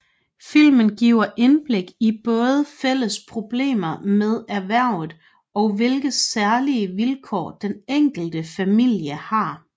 Filmen giver indblik i både fælles problemer med erhvervet og hvilke særlige vilkår den enkelte familie har